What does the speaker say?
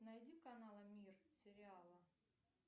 найди каналы мир сериала